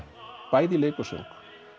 bæði í leik og söng